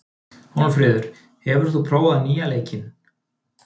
Hólmfríður, hefur þú prófað nýja leikinn?